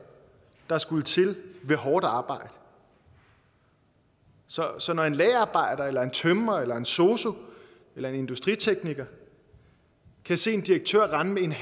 der ville skulle til via hårdt arbejde så så når en lagerarbejder eller en tømrer eller en sosu eller en industritekniker kan se en direktør rende med